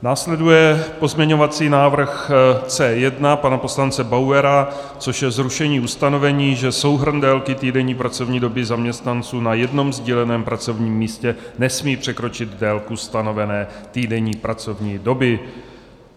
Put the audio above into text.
Následuje pozměňovací návrh C1 pana poslance Bauera, což je zrušení ustanovení, že souhrn délky týdenní pracovní doby zaměstnanců na jednom sdíleném pracovním místě nesmí překročit délku stanovené týdenní pracovní doby.